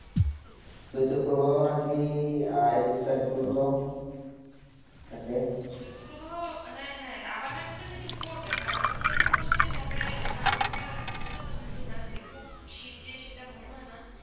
স্বেত প্রভো না কি একুশ তারিক প্রজন্ত থাকে স্বেত প্রভাও হেঁ হেঁ আবার একটা না পর্বে কেন আমাদের তো ঢাকায় তেমন একটা বুঝতে পারছি না খুব সিট্ যে মনে হয়ে না